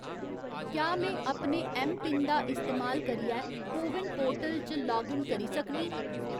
क्या में अपने ऐम्मपिन दा इस्तेमाल करियै कोविन पोर्टल च लाग इन करी सकनीं ?